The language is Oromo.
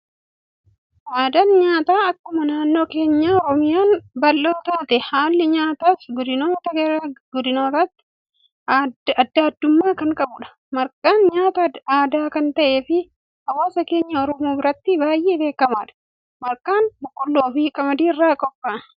Aadaan nyaataa akkuma naannoon keenya Oromiyaan bal'oo taate, haalli nyaataas godinoota gara godinootaatti addaa addummaa kan qabudha. Marqaan nyaata aadaa kan ta'ee fi hawaasa keenya Oromoo biratti baayyee beekamaadha. Marqaan boqolloo fi qamadii irraa qophaa'a.